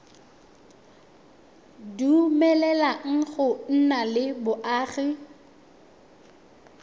dumeleleng go nna le boagi